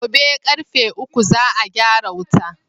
Gobe ƙarfe uku za a gyara wuta